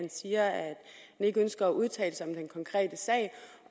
siger at han ikke ønsker at udtale sig